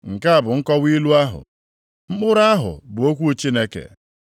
“Nke a bụ nkọwa ilu ahụ. Mkpụrụ ahụ bụ okwu Chineke.